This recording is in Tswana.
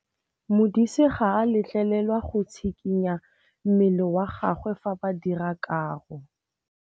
Modise ga a letlelelwa go tshikinya mmele wa gagwe fa ba dira karô.